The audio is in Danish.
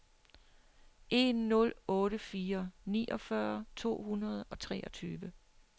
en nul otte fire niogfyrre to hundrede og treogtyve